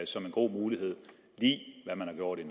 som en god mulighed i det man har gjort